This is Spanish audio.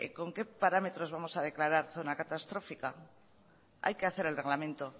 con qué parámetros vamos a declarar zona catastrófica hay que hacer el reglamento